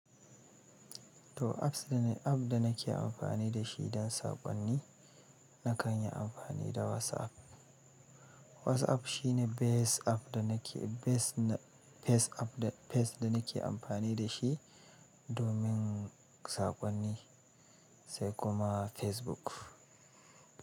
To apps da, app da nake amfani da shi don saƙonni, na kan yi amfani da WhatsApp. WhatsApp shi ne best app da nake, best na, first app da, firstvda nake amfani da shi domin saƙonni, sai kuma Facebook.